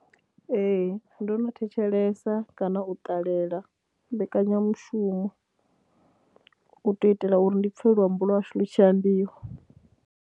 Ee, ndo no thetshelesa kana u ṱalela mbekanyamushumo u tou itela uri ndi pfhe luambo lwa hashu lu tshi ambiwa.